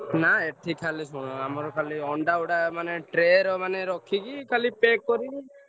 ନାଁ ଏଠି ଖାଲି ଶୁଣ ଆମର ଅଣ୍ଡା ଗୁଡାକ ମାନେ ଟ୍ରେ ରେ ମାନେ ରଖିକି ଖାଲି pack କରିବୁ।